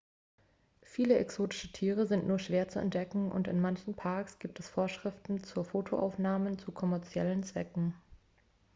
viele exotische tiere sind nur schwer zu entdecken und in manchen parks gibt es vorschriften für fotoaufnahmen zu kommerziellen zwecken